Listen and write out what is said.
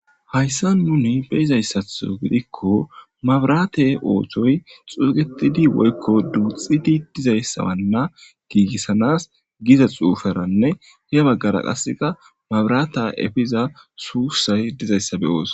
hayssa muni beyizayssatho gidikko mabrate ooththoy xuugetidi woykko duuxxidi dizayssaanna giigissanas giza xuufaranne he baggara qaseqa mabrata efiza suussay dizayssa beyoos